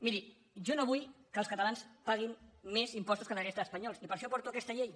miri jo no vull que els catalans paguin més impostos que la resta d’espanyols i per això porto aquesta llei